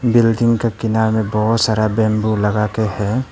Building के किनारे में बहोत सारा बैंबू लगा के है।